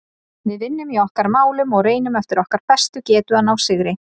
Við vinnum í okkar málum og reynum eftir okkar bestu getu að ná sigri.